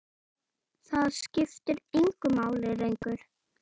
Það skiptir engu máli lengur.